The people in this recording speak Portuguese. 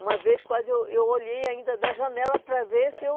Uma vez quase eu eu olhei ainda da janela para ver se eu